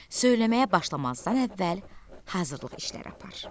Söyləməyə başlamazdan əvvəl hazırlıq işləri apar.